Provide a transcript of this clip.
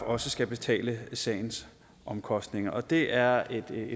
også skal betale sagens omkostninger det er et